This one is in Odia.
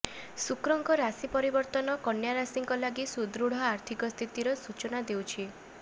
ଶୁକ୍ରଙ୍କ ରାଶି ପରିବର୍ତ୍ତନ କନ୍ୟାରାଶିଙ୍କ ଲାଗି ସୁଦୃଢ ଆର୍ଥିକ ସ୍ଥିତିର ସୂଚନା ଦେଉଛି